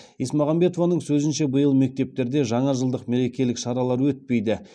есмағамбетованың сөзінше биыл мектептерде жаңажылдық мерекелік шаралар өтпейді